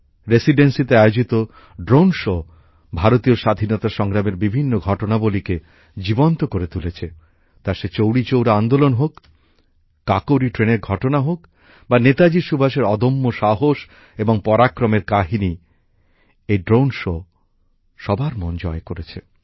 রেসিডেন্সীতে আয়োজিত drone show ভারতীয় স্বাধীনতা সংগ্রামের বিভিন্ন ঘটনাবলীকে জীবন্ত করে তুলেছে౼ তা সে চৌরিচৌরা আন্দোলন হোক কাকোরি ট্রেনের ঘটনা হোক বা নেতাজি সুভাষের অদম্য সাহস এবং পরাক্রমের কাহিনী এই ড্রোন শো সবার মন জয় করেছে